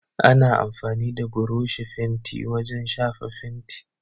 Ana amfani da buroshi fenti wajen shafa fenti.